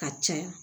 Ka caya